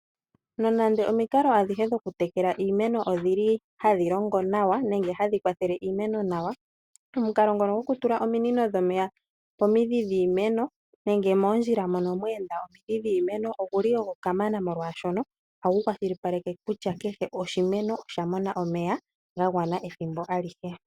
Nonande omikalo adhihe dhokutekela iimeno odhi li hadhi longo nawa, nenge hadhi kwathele iimeno nawa, omukalo ngono gokutula ominino dhomeya pomidhi dhiimeno nenge moondjila mono mweenda omidhi dhiimeno oguli ogo kamana molwaashoka ohagu kwashilipaleke kutya kehe oshimeno osha mona omeya ga gwana ethimbo alihe.